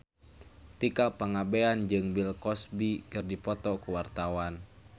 Tika Pangabean jeung Bill Cosby keur dipoto ku wartawan